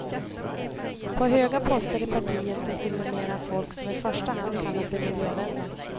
På höga poster i partiet sitter numera folk som i första hand kallar sig miljövänner.